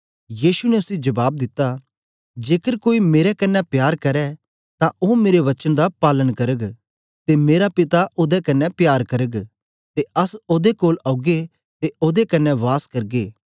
यीशु ने उसी जबाब दिता जेकर कोई मेरे कन्ने प्यार करै तां ओ मेरे वचन दा पालन करग ते मेरा पिता ओदे कन्ने प्यार करग ते अस ओदे कोल औगे ते ओदे कन्ने वास करगे